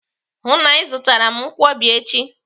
Hụụ na Ị zụtara m nkwobi echi!